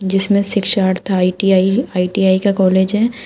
जीसमें शिक्षार्थ ITI ITI का कॉलेज है।